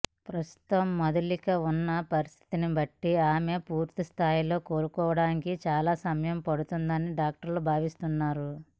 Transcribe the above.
ప్రస్తుతం మధులిక ఉన్న పరిస్థితిని బట్టి ఆమె పూర్తి స్థాయిలో కోలుకోవడానికి చాలా సమయం పడుతుందని డాక్టర్లు భావిస్తున్నారు